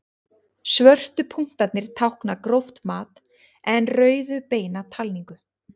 Svörtu punktarnir tákna gróft mat en rauðu beina talningu.